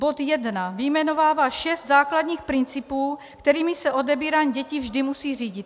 Bod 1 vyjmenovává šest základních principů, kterými se odebírání dětí vždy musí řídit.